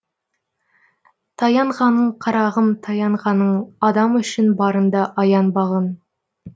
таянғаның қарағым таянғаның адам үшін барыңды аянбағын